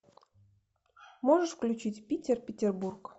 можешь включить питер петербург